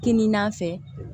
Kini n'a fɛ